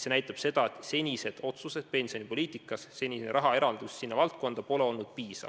See näitab seda, et senised otsused pensionipoliitikas on olnud sellised, et rahaeraldus sinna valdkonda pole olnud piisav.